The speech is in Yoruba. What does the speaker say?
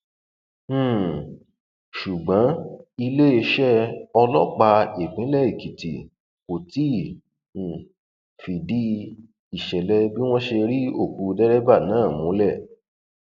um ṣùgbọn iléeṣẹ ọlọpàá ìpínlẹ èkìtì kò tí um ì fìdí ìṣẹlẹ bí wọn ṣe ri òkú dẹrẹbà náà múlẹ